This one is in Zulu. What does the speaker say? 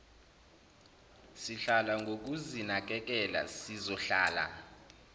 sihlala ngokuzinakekela sizohlala